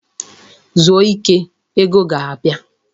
Zuo ike! Ego ga-abia.